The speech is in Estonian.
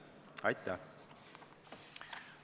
Aitäh!